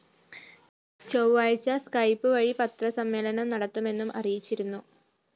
ചൊവ്വാഴ്ച സ്‌കൈപ്പ് വഴി പത്രസമ്മേളനം നടത്തുമെന്നും അറിയിച്ചിരുന്നു